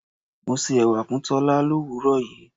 Mo se ẹwà fún Tola l'òwúrò yìí.